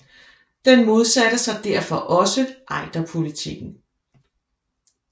Den modsatte sig derfor også Ejderpolitikken